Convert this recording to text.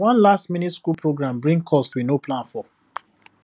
one lastminute school program bring cost we no plan for